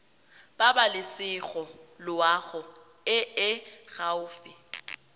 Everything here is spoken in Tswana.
pabalesego loago e e gaufi